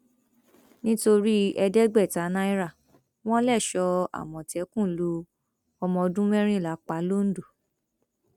nítorí ẹẹdẹgbẹta náírà wọn lẹṣọọ àmọtẹkùn lu ọmọọdún mẹrìnlá pa lọńdọ